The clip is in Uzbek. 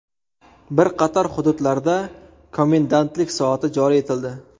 Bir qator hududlarda komendantlik soati joriy etildi.